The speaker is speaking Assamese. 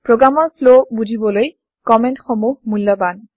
প্ৰগ্ৰেমৰ ফ্ল বুজিবলৈ কমেন্ট সমূহ মূল্যৱান